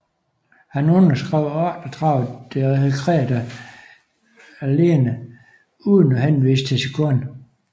Han underskrev 38 dekretter alene uden at henvise til sin kone